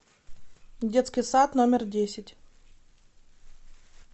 детский сад номер десять